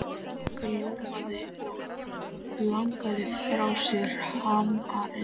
Magga ljómaði og lagði frá sér hamarinn.